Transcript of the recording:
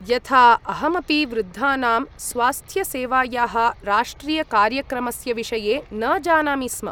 यथा, अहमपि वृद्धानां स्वास्थ्यसेवायाः राष्ट्रियकार्यक्रमस्य विषये न जानामि स्म।